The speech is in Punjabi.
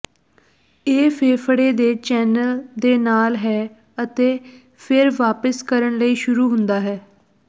ਇਹ ਫੇਫੜੇ ਦੇ ਚੈਨਲ ਦੇ ਨਾਲ ਹੈ ਅਤੇ ਫਿਰ ਵਾਪਸ ਕਰਨ ਲਈ ਸ਼ੁਰੂ ਹੁੰਦਾ ਹੈ